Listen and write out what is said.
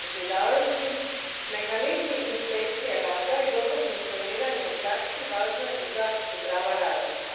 Gospodine predsjedavajući, mehanizmi inspekcije rada i dobro funkcioniranje u praksi važni su za zaštitu prava radnika.